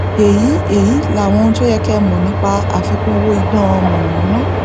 èyí èyí làwọn ohun tó yẹ kí ẹ mọ nípa àfikún owó iná mọnàmọná